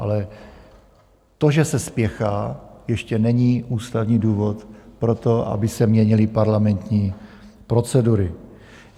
Ale to, že se spěchá, ještě není ústavní důvod pro to, aby se měnily parlamentní procedury.